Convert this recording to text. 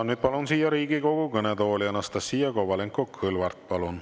Ja nüüd palun siia Riigikogu kõnetooli Anastassia Kovalenko-Kõlvarti.